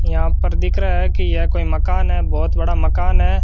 यहां पर दिख रहा है कि यह कोई मकान है बहोत बड़ा मकान है।